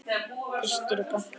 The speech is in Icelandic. Fyrstur í pontu.